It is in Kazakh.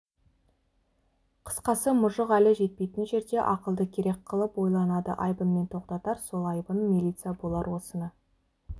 қысқасы мұжық әлі жетпейтін жерде ақылды керек қылып ойланады айбынмен тоқтатар сол айбын милиция болар осыны